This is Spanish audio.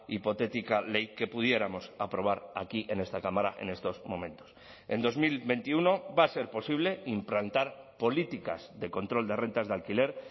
hipotética ley que pudiéramos aprobar aquí en esta cámara en estos momentos en dos mil veintiuno va a ser posible implantar políticas de control de rentas de alquiler